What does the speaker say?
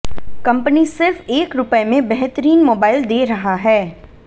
company सिर्फ एक रुपए में बेहतरीन मोबाइल दे रहा है